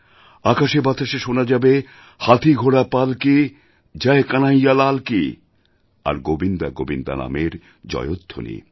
আকাশে বাতাসে শোনা যাবে হাথী ঘোড়া পালকি জয় কান্হাইয়া লালকি আর গোবিন্দা গোবিন্দা নামের জয়ধ্বনি